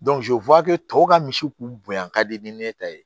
tɔw ka misiw k'u bonyan ka di ni ne ta ye